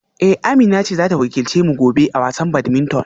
Eh Amina ce za ta wakilce mu gobe a wasan badminton